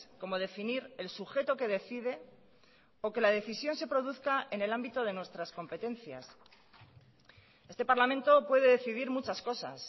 como definir el sujeto que decide o que la decisión se produzca en el ámbito de nuestras competencias este parlamento puede decidir muchas cosas